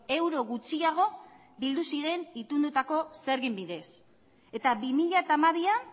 euro gutxiago bildu ziren itunduko zergen bidez eta bi mila hamabian